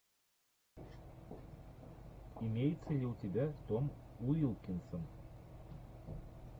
имеется ли у тебя том уилкинсон